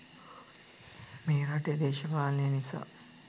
මේ රටේ දේශපාලනේ නිසා